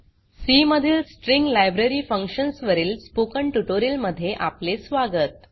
C मधील string library functions वरील spoken tutorial मध्ये आपले स्वागत